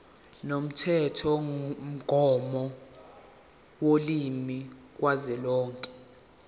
lomthethomgomo wolimi kazwelonke